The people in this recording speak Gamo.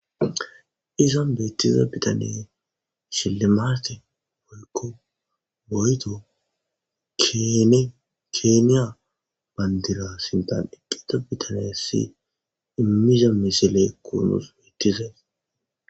Izan beettiza bitaney shillimaate woykko keeniya bandira sinthan bitanessi immiza misilekko dizay.